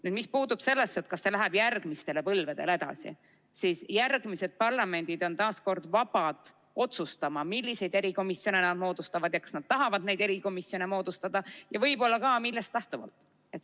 Nüüd, mis puutub sellesse, kas see läheb järgmistele põlvedele edasi, siis järgmised parlamendid on taas vabad otsustama, milliseid erikomisjone nad moodustavad, kas nad tahavad neid erikomisjone moodustada ja võib-olla ka, millest lähtuvalt.